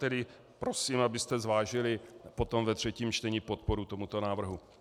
Tedy prosím, abyste zvážili potom ve třetím čtení podporu tomuto návrhu.